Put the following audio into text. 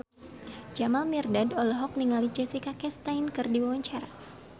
Jamal Mirdad olohok ningali Jessica Chastain keur diwawancara